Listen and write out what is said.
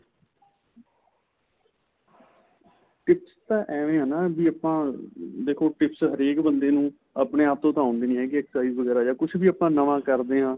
tips ਤਾਂ ਐਵੇ ਨਾ ਵੀ ਆਪਾਂ ਦੇਖੋ tips ਹਰੇਕ ਬੰਦੇ ਨੂੰ ਆਪਣੇਂ ਆਪ ਤੋਂ ਆਉਦੇ ਨਹੀਂ ਹੈਗੇ exercise ਕੁੱਛ ਵੀ ਆਪਾਂ ਨਵਾਂ ਕਰਦੇ ਹਾਂ